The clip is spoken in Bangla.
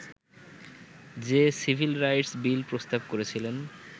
যে সিভিল রাইটস বিল প্রস্তাব করেছিলেন